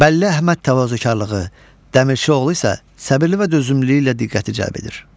Bəlli Əhməd təvazökarlığı, Dəmirçioğlu isə səbirlilə və dözümlüyü ilə diqqəti cəlb edir.